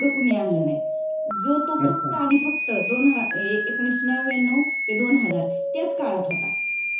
कोणी आणला नाही जो तो फक्त आणि फक्त एकोणीशे नव्व्याणव ते दोन हजार त्याच काळात होता.